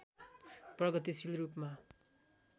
प्रगतिशील रूपमा